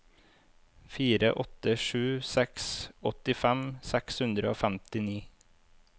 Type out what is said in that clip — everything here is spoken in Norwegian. fire åtte sju seks åttifem seks hundre og femtini